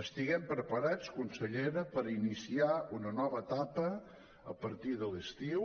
estiguem preparats consellera per iniciar una nova etapa a partir de l’estiu